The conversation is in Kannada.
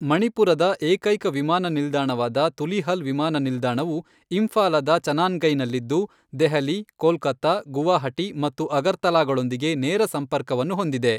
ಮಣಿಪುರದ ಏಕೈಕ ವಿಮಾನ ನಿಲ್ದಾಣವಾದ ತುಲೀಹಲ್ ವಿಮಾನ ನಿಲ್ದಾಣವು ಇಂಫಾಲದ ಚನಾನ್ಗೈನಲ್ಲಿದ್ದು, ದೆಹಲಿ, ಕೋಲ್ಕತ್ತಾ, ಗುವಾಹಟಿ ಮತ್ತು ಅಗರ್ತಲಾಗಳೊಂದಿಗೆ ನೇರ ಸಂಪರ್ಕವನ್ನು ಹೊಂದಿದೆ.